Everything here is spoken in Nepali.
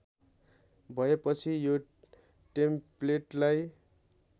भएपछि यो टेम्प्लेटलाई